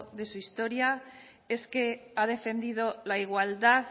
de su historia es que ha defendido la igualdad